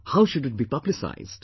How should it be publicised